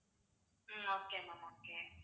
um okay ma'am okay